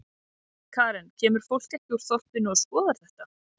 Karen: Kemur fólk ekki úr þorpinu og skoðar þetta?